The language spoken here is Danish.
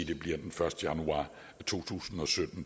det bliver den første januar to tusind og sytten